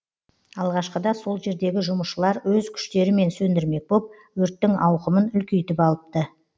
алғашқыда сол жердегі жұмысшылар өз күштерімен сөндірмек боп өрттің ауқымын үлкейтіп алыпты